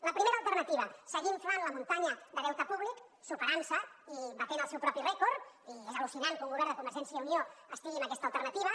la primera alternativa seguir inflant la muntanya de deute públic superantse i batent el seu propi rècord i és al·lucinant que un govern de convergència i unió estigui en aquesta alternativa